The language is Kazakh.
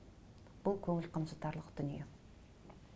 бұл көңіл қынжылтарлық дүние